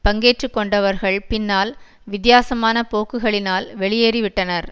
பங்கேற்றுக் கொண்டவர்கள் பின்னால் வித்தியாசமான போக்குகளினால் வெளியேறி விட்டனர்